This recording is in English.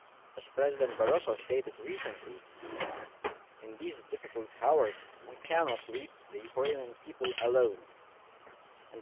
As President Barroso stated recently, in these difficult hours we cannot leave the Ukrainian people on their own.